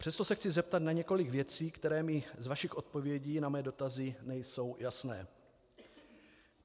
Přesto se chci zeptat na několik věcí, které mi z vašich odpovědí na mé dotazy nejsou jasné.